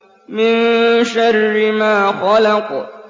مِن شَرِّ مَا خَلَقَ